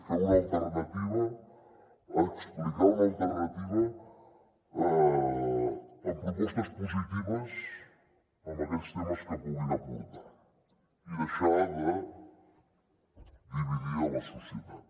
fer una alternativa explicar una alternativa amb propostes positives en aquells temes que puguin aportar i deixar de dividir la societat